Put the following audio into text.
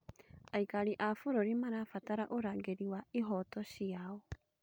Aikari a bũrũri marabatara ũrangĩri wa ihooto ciao.